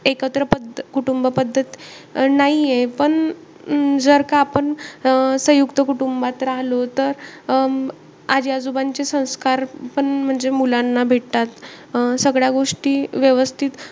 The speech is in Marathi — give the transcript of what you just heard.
एकत्र पद्धत कुटुंब पद्धत नाहीये. पण जर का, आपण सयुंक्त कुटुंबात राहलो तर अं आजी-आजोबांचे संस्कार पण म्हणजे मुलांना भेटतात. अं सगळ्या गोष्टी व्यवस्थित,